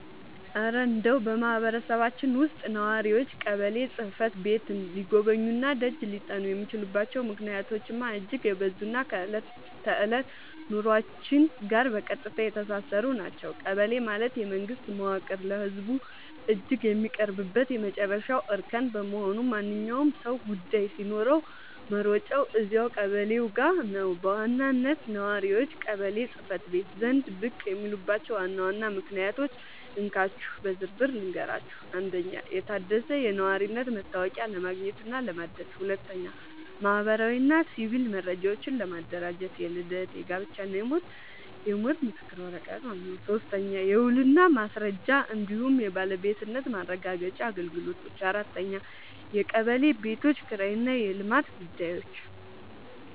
እረ እንደው በማህበረሰባችን ውስጥ ነዋሪዎች ቀበሌ ጽሕፈት ቤትን ሊጎበኙና ደጅ ሊጠኑ የሚችሉባቸው ምክንያቶችማ እጅግ የበዙና ከዕለት ተዕለት ኑሯችን ጋር በቀጥታ የተሳሰሩ ናቸው! ቀበሌ ማለት የመንግስት መዋቅር ለህዝቡ እጅግ የሚቀርብበት የመጨረሻው እርከን በመሆኑ፣ ማንኛውም ሰው ጉዳይ ሲኖረው መሮጫው እዚያው ቀበሌው ጋ ነው። በዋናነት ነዋሪዎች ቀበሌ ጽ/ቤት ዘንድ ብቅ የሚሉባቸውን ዋና ዋና ምክንያቶች እንካችሁ በዝርዝር ልንገራችሁ፦ 1. የታደሰ የነዋሪነት መታወቂያ ለማግኘትና ለማደስ 2. ማህበራዊና ሲቪል መረጃዎችን ለማደራጀት (የልደት፣ የጋብቻና የሞት ምስክር ወረቀት) 3. የውልና ማስረጃ እንዲሁም የባለቤትነት ማረጋገጫ አገልግሎቶች 4. የቀበሌ ቤቶች ኪራይና የልማት ጉዳዮች